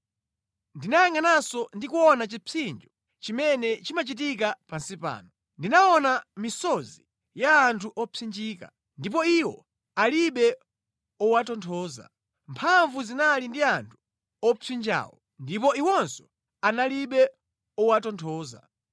Ndinayangʼananso ndi kuona chipsinjo chimene chimachitika pansi pano: ndinaona misozi ya anthu opsinjika, ndipo iwo alibe owatonthoza; mphamvu zinali ndi anthu owapsinjawo ndipo iwonso analibe owatonthoza.